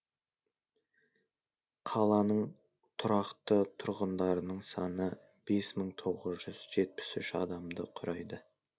қаланың тұрақты тұрғындарының саны бес мың тоғыз жүз жетпіс үш адамды құрайды